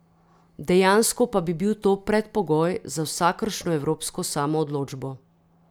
Dejansko pa bi bil to predpogoj za vsakršno evropsko samoodločbo.